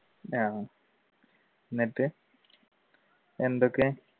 എന്നിട്ട് എന്തൊക്കെ?